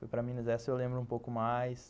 Foi para Minas essa eu lembro um pouco mais.